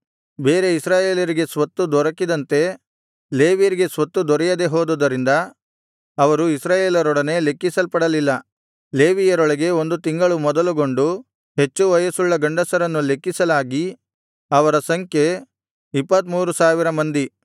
ಬೇರೆ ಇಸ್ರಾಯೇಲರಿಗೆ ಸ್ವತ್ತು ದೊರಕಿದಂತೆ ಲೇವಿಯರಿಗೆ ಸ್ವತ್ತು ದೊರೆಯದೆ ಹೋದುದರಿಂದ ಅವರು ಇಸ್ರಾಯೇಲರೊಡನೆ ಲೆಕ್ಕಿಸಲ್ಪಡಲಿಲ್ಲ ಲೇವಿಯರೊಳಗೆ ಒಂದು ತಿಂಗಳು ಮೊದಲುಗೊಂಡು ಹೆಚ್ಚು ವಯಸ್ಸುಳ್ಳ ಗಂಡಸರನ್ನು ಲೆಕ್ಕಿಸಲಾಗಿ ಅವರ ಸಂಖ್ಯೆ 23000 ಮಂದಿ